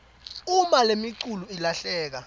uma lemiculu ilahleka